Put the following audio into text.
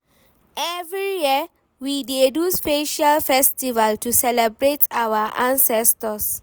Every year, we dey do special festival to celebrate our ancestors